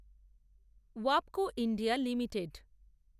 Wabco India limited